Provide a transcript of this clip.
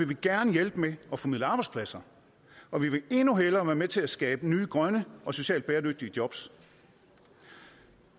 vi gerne hjælpe med at formidle arbejdspladser og vi vil endnu hellere være med til at skabe nye grønne og socialt bæredygtige jobs